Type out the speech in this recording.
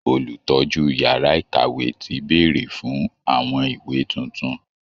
Olùtọ́jú yàrá ìkàwé ti bèèrè fún àwọn ìwé tuntun